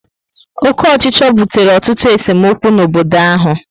Oke ochicho butere ọtụtụ esemokwu n'obodo áhù